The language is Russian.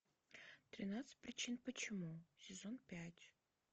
тринадцать причин почему сезон пять